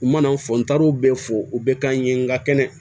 U mana fɔ n taar'o bɛɛ fɔ u bɛ k'an ye nka kɛnɛ